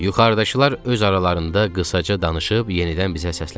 Yuxarıdakılar öz aralarında qısaca danışıb yenidən bizə səsləndilər.